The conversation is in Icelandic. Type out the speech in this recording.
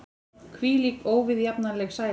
Hvílík óviðjafnanleg sæla!